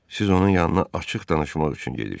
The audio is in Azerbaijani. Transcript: Siz onun yanına açıq danışmaq üçün gedirsiz.